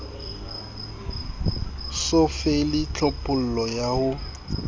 so fele tlhophollo ya ho